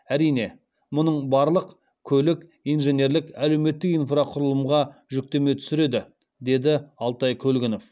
әрине мұның барлық көлік инженерлік әлеуметтік инфрақұрылымға жүктеме түсіреді деді алтай көлгінов